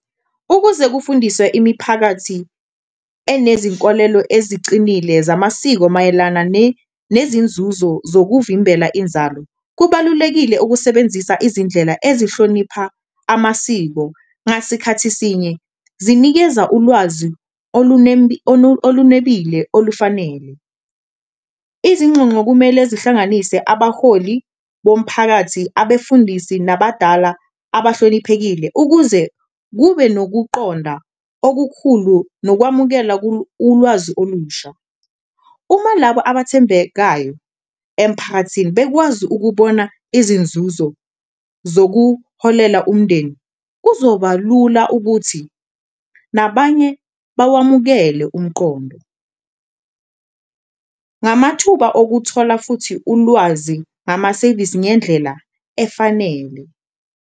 Ukuze kufundiswe imiphakathi enezinkolelo ezicinile zamasiko mayelana nezinzuzo zokuvimbela inzalo, kubalulekile ukusebenzisa izindlela ezihlonipha amasiko ngasikhathi esinye, zinikeza ulwazi olunebile olufanele. Izinxonxo kumele zihlanganise abaholi bomphakathi, abefundisi nabadala abahloniphekile, ukuze kube nokuqonda okukhulu nokwamukela ulwazi olusha, uma labo abathembekayo emphakathini bekwazi ukubona izinzuzo zokuholela umndeni kuzoba lula ukuthi nabanye bakwamukele umqondo. Ngamathuba okuthola futhi ulwazi namasevisi ngendlela efanele.